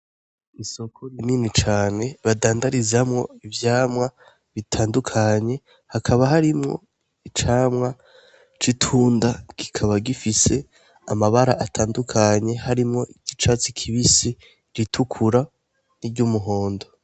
Isoko rinini cane badandarizamwo ivyamwa bitandukanye, hakaba harimwo icamwa c'itunda, kikaba gifise amabara atandukanye, harimwo iry'icatsi kibisi, iritukura n'iryumuhondo.